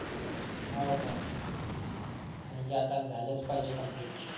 हा का म्हणजी आता झालच पाहिजे कंप्लिट